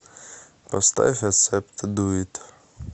поставь ассепт ду ит